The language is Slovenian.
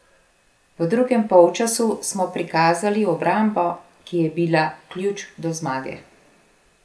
V drugem polčasu smo prikazali obrambo, ki je bila ključ do zmage.